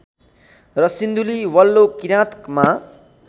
र सिन्धुली वल्लो किराँतमा